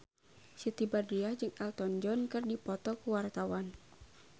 Siti Badriah jeung Elton John keur dipoto ku wartawan